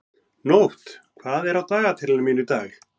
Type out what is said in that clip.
Nótt, hvað er á dagatalinu mínu í dag?